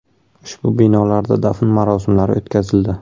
Ushbu binolarda dafn marosimlari o‘tkazildi.